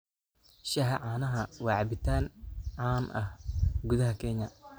Shaaha caanaha waa cabitaan caan ah gudaha Kenya.